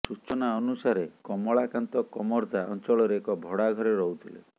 ସୂଚନା ଅନୁସାରେ କମଳାକାନ୍ତ କମର୍ଦ୍ଦା ଅଞ୍ଚଳରେ ଏକ ଭଡ଼ା ଘରେ ରହୁଥିଲେ